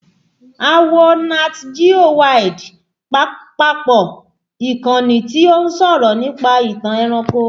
A wo Nat Geo Wild papọ̀, ìkànnì tí ó ń sọ̀rọ̀ nípa ìtàn ẹranko